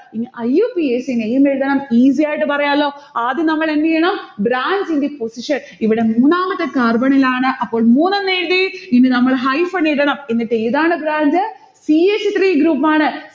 ഇനി IUPAC name എഴുതണം. easy ആയിട്ട് പറയാലോ. ആദ്യം നമ്മളെന്ത് ചെയ്യണം branch ന്റെ position ഇവിടെ മൂന്നാമത്തെ carbon ഇലാണ് അപ്പോൾ മൂന്ന് എന്നഴുതി. ഇനി നമ്മൾ hyphen ഇടണം. എന്നിട്ട് ഏതാണ് branch? c h three group ആണ്.